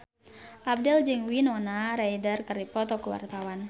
Abdel jeung Winona Ryder keur dipoto ku wartawan